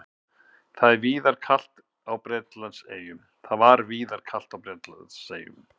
Það var víðar kalt á Bretlandseyjum